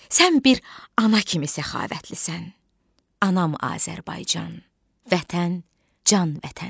Sən bir ana kimi səxavətlisən, anam Azərbaycan, vətən, can vətən.